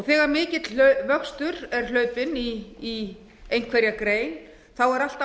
þegar mikill vöxtur er hlaupinn í einhverja grein er alltaf